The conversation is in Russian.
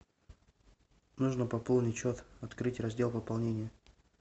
нужно пополнить счет открыть раздел пополнение